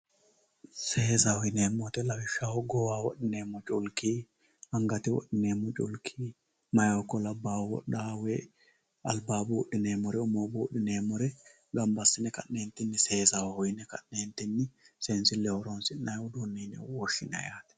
Seessaho yineemo woyite lawishaho goowaho wodhineemo culikki, angate wodhi'neemo culikki meyahu ikko labahu wodhaahu woyi alibaho buudhi'neemori umoho buudhi'neemore gamba assine ka'nentini seessaho yine ka'neentinni, see'nsilleho horonsi'nayi uduune yine ka'nebwoshinay yaate.